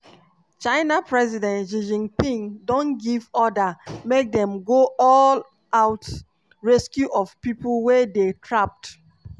china president xi jinping don give order make dem do "all-out" rescue of pipo wey dey trapped.